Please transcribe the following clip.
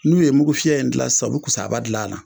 N'u ye mugu fiyɛ in gilan sisan u be kusaaba gil'a la